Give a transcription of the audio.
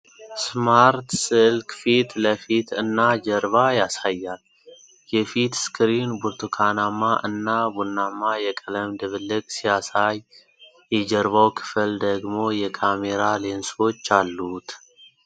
ስማርት ስልክ ፊት ለፊት እና ጀርባ ያሳያል። የፊት ስክሪን ብርቱካናማ እና ቡናማ የቀለም ድብልቅ ሲያሳይ፣ የጀርባው ክፍል ደግሞ የካሜራ ሌንሶች አሉት?